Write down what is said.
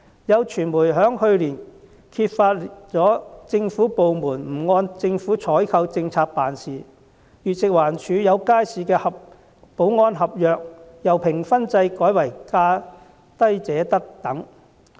有傳媒在去年揭發了有政府部門不按政府採購政策辦事，例如食物環境衞生署有街市的保安合約由評分制改為價低者得等。